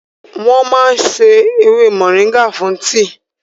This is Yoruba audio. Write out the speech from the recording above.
Wọ́n máa ń sá ewé mọ̀nríngà fún tíì